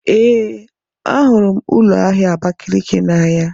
Ee, ahụrụ m ụlọ ahịa Abakaliki n'anya.